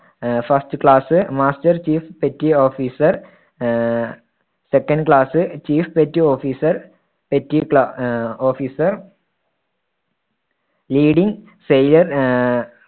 ആഹ് first class, master chief, petty officer ah second class chief petty officer, petty ക്ലാ~ ah officer leading sailor ആഹ്